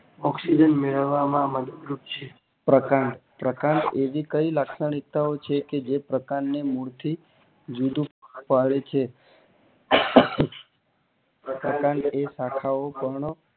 Oxygen મેળવામાં માં મદદ રૂપ છે પ્રકાંડ પ્રકાંડ એવી કઈ લાક્ષણિકતા છે કે જે પ્રકાંડ ને મૂળ થી જુદું પાડે છે પ્રકાંડ અંગે એવી શાખા ઓ